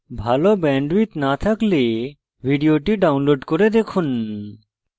ভাল bandwidth না থাকলে ভিডিওটি download করে দেখুন